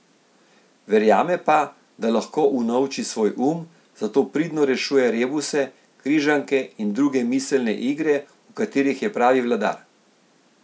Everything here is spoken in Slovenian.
Verjame pa, da lahko unovči svoj um, zato pridno rešuje rebuse, križanke in druge miselne igre, v katerih je pravi vladar.